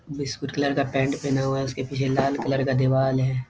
Biscuit colour का pant पहना हुआ है उसके पीछे लाल कलर का दिवाल हैं।